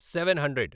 seven hundred